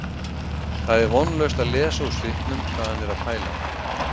Það er vonlaust að lesa úr svipnum hvað hann er að pæla